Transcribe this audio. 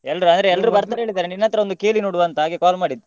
ಎಲ್ರೂ ಅಂದ್ರೆ ಎಲ್ರೂ ಅಂತ ಬರ್ತೇವೆ ಹೇಳಿದ್ದಾರೆ ನಿನ್ನತ್ರ ಒಂದು ಕೇಳಿ ನೋಡುವ ಅಂತ ಹಾಗೆ call ಮಾಡಿದ್ದು.